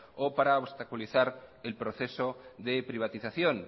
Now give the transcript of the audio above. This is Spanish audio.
o para obstaculizar el proceso de privatización